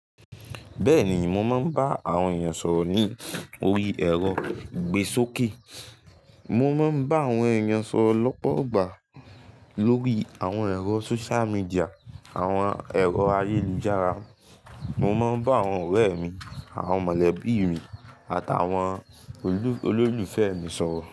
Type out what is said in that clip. Bẹ́ẹ̀ni, mo máa ń bá àwọn èèyàn sọ̀rọ̀ ni orí ẹ̀rọ ìgbésókè. Mo máa ń bá àwọn èèyàn sọ̀rọ̀ lọ́pọ̀ igba lórí àwọn ẹ̀rọ sóṣíà míḍíà, àwọn ẹ̀rọ ayélujára. Mo máa ń bá àwọn ọ̀rẹ́ mi, àwọn mọ̀lẹ́bí mi, àtàwọn olólùfẹ́ mi sọ̀rọ̀